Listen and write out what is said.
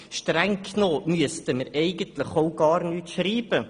Streng genommen müssten wir gar nichts in unser Gesetz schreiben.